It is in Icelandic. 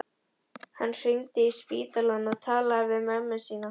Hann hringdi í spítalann og talaði við mömmu sína.